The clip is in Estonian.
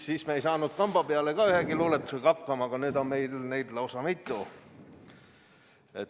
Siis me ei saanud kamba pealegi ühegi luuletusega hakkama, aga nüüd on meil neid lausa mitu.